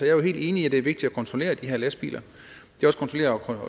jo helt enig i at det er vigtigt at kontrollere de her lastbiler